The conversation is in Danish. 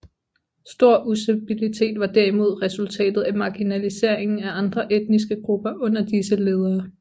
Stor ustabilitet var derimod resultatet af marginaliseringen af andre etniske grupper under disse ledere